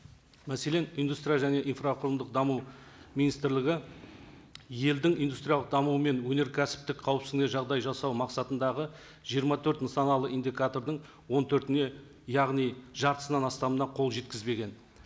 мәселен индустрия және инфрақұрылымдық даму министрлігі елдің индустриялық дамуы мен өнеркәсіптік қауіпсіздігіне жағдай жасау мақсатындағы жиырма төрт нысаналы индикатордың он төртіне яғни жартысынан астамына қол жеткізбеген